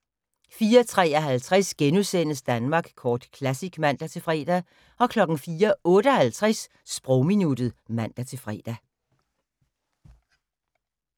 04:53: Danmark Kort Classic *(man-fre) 04:58: Sprogminuttet (man-fre)